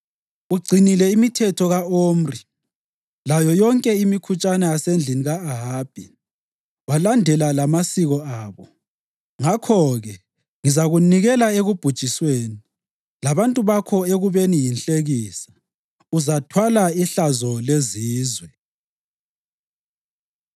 Ugcinile imithetho ka-Omri layo yonke imikhutshana yasendlini ka-Ahabi, walandela lamasiko abo. Ngakho-ke ngizakunikela ekubhujisweni, labantu bakho ekubeni yinhlekisa; uzathwala ihlazo lezizwe.”